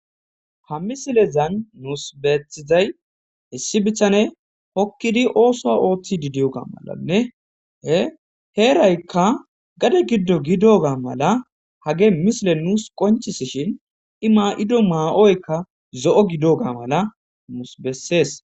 Ha misilezan nuus beetizay issi bitaney hokkidi ossuwa oththidi diyoga malanne he heerayka gade giddo gidoga mala hagey misiley nuus qoncisishin i ma'ido ma'oyka zo'o gidoga mala nuusi besees.